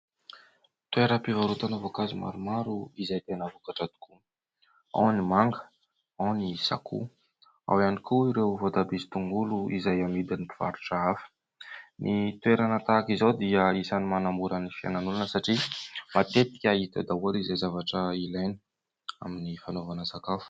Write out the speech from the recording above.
Toeram-pivarotana voankazo maromaro izay tena vokatra tokoa : ao ny manga, ao ny sakoa, ao ihany koa ireo voatabia sy tongolo izay amidin'ny mpivarotra hafa. Ny toerana tahaka izao dia isan'ny manamora ny fiainan'ny olona satria matetika hita eo daholo izay zavatra ilaina amin'ny fanaovana sakafo.